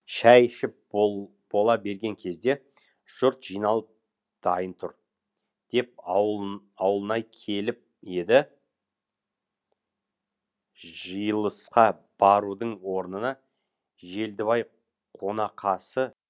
шай ішіп бола берген кезде жұрт жиналып дайын тұр деп ауылнай келіп еді жиылысқа барудың орнына желдібай қонақасы